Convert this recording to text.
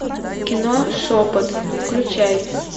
кино шепот включай